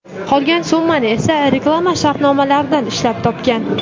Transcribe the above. Qolgan summani esa reklama shartnomalaridan ishlab topgan.